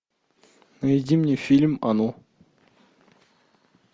найди мне фильм оно